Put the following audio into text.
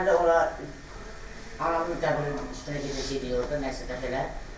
Həm də ora aramla dəvət olunacaqdı orda nəsə də belə.